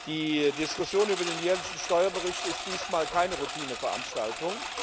Die Diskussion über den jährlichen Steuerbericht ist diesmal keine Routineveranstaltung.